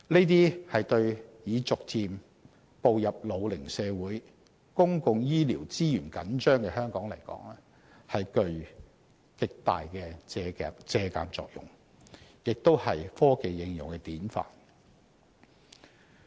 對於已逐漸步入老齡社會、公共醫療資源緊張的香港，這些措施具極大借鑒作用，亦是科技應用的典範。